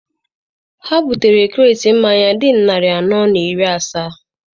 Ha butere kreti mmanya dị narị anọ na iri asaa.